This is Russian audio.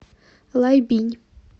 лайбинь